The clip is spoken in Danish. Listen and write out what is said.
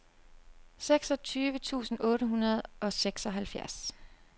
seksogtyve tusind otte hundrede og seksoghalvfjerds